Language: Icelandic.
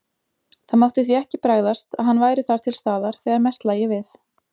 Það mátti því ekki bregðast, að hann væri þar til staðar, þegar mest lægi við.